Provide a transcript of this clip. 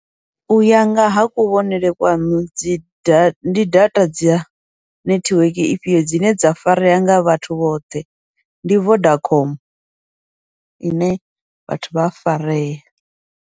Uya ngaha kuvhonele kwaṋu dzi data ndi data dzi ya nethiweke ifhio dzine dza farea nga vhathu vhoṱhe, ndi Vodacom ine vhathu vha a farea.